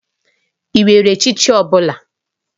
Ị nwere echichi ọ bụla?